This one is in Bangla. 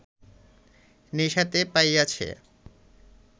নেশাতে পাইয়াছে